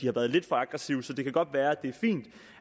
har været lidt for aggressive så det kan godt være at det er fint